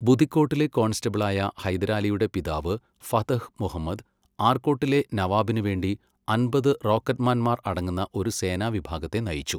ബുദിക്കോട്ടിലെ കോൺസ്റ്റബിളായ ഹൈദരാലിയുടെ പിതാവ് ഫതഹ് മുഹമ്മദ് ആർക്കോട്ടിലെ നവാബിനുവേണ്ടി അമ്പത് റോക്കറ്റ്മാൻമാർ അടങ്ങുന്ന ഒരു സേനാ വിഭാഗത്തെ നയിച്ചു.